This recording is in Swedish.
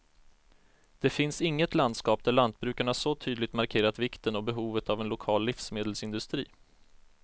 Det finns inget landskap där lantbrukarna så tydligt markerat vikten och behovet av en lokal livsmedelsindustri.